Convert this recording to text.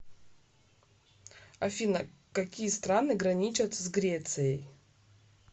афина какие страны граничат с грецией